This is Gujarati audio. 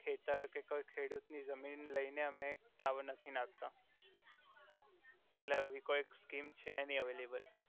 ખેતર કે કોઇ ખેડુત ની જમિન લઈ ને અમે એક ટાવર નથી નાખતા એટલે અવી કોઇ સ્કિમ છે નઈ અવઈલેબલ